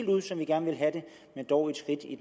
ud som vi gerne vil have det men dog et skridt i